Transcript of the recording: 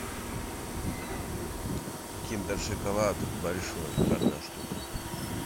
киндер шоколад большой одна штука